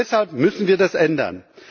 Und deshalb müssen wir das ändern.